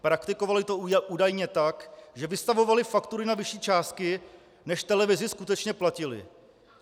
Praktikovaly to údajně tak, že vystavovaly faktury na vyšší částky, než televizi skutečně platily.